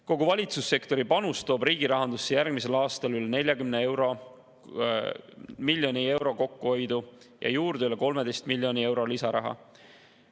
Kogu valitsussektori panus toob riigi rahandusse järgmisel aastal üle 40 miljoni euro tänu kokkuhoiule ja üle 13 miljoni euro lisaraha.